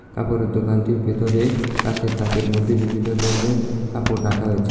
কাপড়ের দোকানটির ভেতরে কাঁচের তাকের মদ্যে বিভিন্ন দরনের কাপড় রাকা হয়েছে।